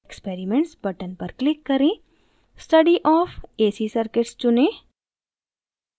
experiments button पर click करें study of ac circuits चुनें